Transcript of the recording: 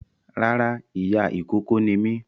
Rárá ìyá ìkókó ni mí